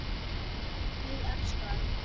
Ég elska ömmu.